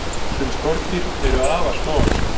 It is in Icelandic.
sum skordýr eru afar smávaxin